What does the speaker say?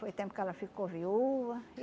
Foi tempo que ela ficou viúva.